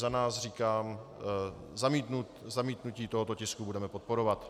Za nás říkám, zamítnutí tohoto tisku budeme podporovat.